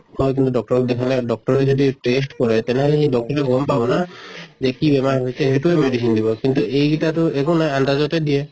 কিন্তু doctor ক দেখালে doctor যদি test কৰে তেনেহʼলে সেই doctor য়ে গম পাব না যে কি বেমাৰ হৈছে সেইটোয়ে medicine দিব। কিন্তু এইগটা টো একো নাই আন্তাজতে দিয়ে